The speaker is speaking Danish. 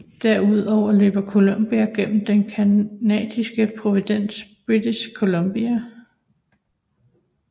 Derudover løber Columbia gennem den Canadisk provins British Columbia